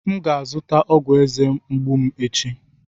M ga-azụta ọgwụ eze mgbu m echi.